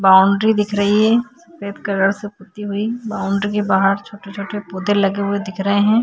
Boundary दिख रही है रेड कलर से पुत्ती हुई बाउंड्री के बाहर छोटे-छोटे पौधे लगे हुए दिख रहे हैं।